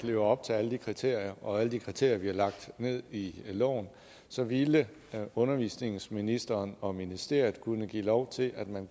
lever op til alle de kriterier og alle de kriterier bliver lagt ned i loven så ville undervisningsministeren og ministeriet kunne give lov til at man